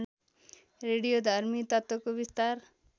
रेडियोधर्मी तत्त्वको बिस्तार